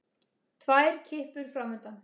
Tvær kippur framundan.